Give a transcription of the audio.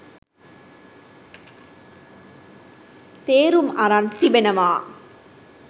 තේරුම් අරන් තිබෙනවා